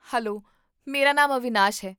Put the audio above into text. hello, ਮੇਰਾ ਨਾਮ ਅਵਿਨਾਸ਼ ਹੈ